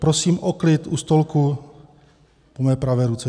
Prosím o klid u stolku po mé pravé ruce.